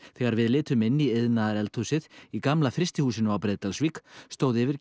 þegar við litum inn í iðnaðareldhúsið í gamla frystihúsinu á Breiðdalsvík stóð yfir